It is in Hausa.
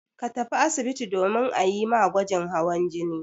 Ka tafi asibitin domin a yi ma gwajin hawan jini.